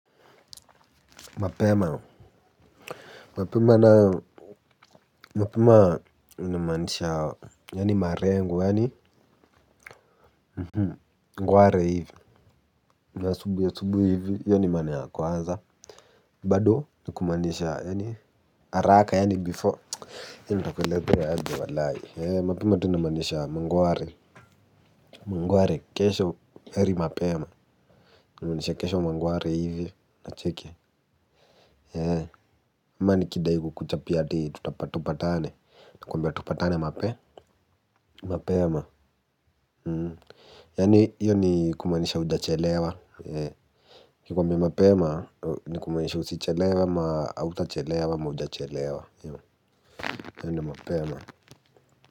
Mapema mapema na mapema ninamaanisha yaani marengoyaani ngware hivi za asubuhi asubuhi hivi hiyo ni maana ya kwanza bado nikumanisha yaani haraka yaani before yaani nitakuelezea aje walai mapema tunamanisha mangware mangware kesho heri mapema nikumanisha kesho mangware hivi na cheki eeh ama nii kidai ku kuchapia ati tutapatupa tane nakumbia tupatane mape mapema yaani hiyo ni kumanisha uja chelewa nikikuambiai mapema ni kumanisha usichelewe ama uta chelewa ama uja chelewa yaani mapema.